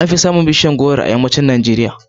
An fi samun bishiyar goro a yammacin Najeriya.